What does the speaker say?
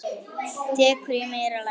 Dekur í meira lagi.